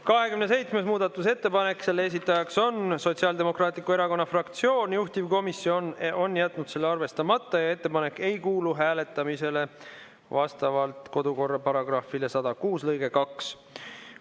27. muudatusettepanek, selle esitajaks on Sotsiaaldemokraatliku Erakonna fraktsioon, juhtivkomisjon on jätnud selle arvestamata ja ettepanek ei kuulu hääletamisele vastavalt kodukorra § 106 lõikele 2.